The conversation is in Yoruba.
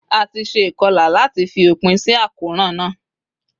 A ti se ìkolà láàti fi òpinsí àkóràn náà